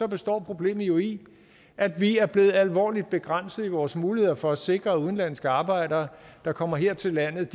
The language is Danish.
består problemet jo i at vi er blevet alvorligt begrænset i vores muligheder for at sikre at udenlandske arbejdere der kommer her til landet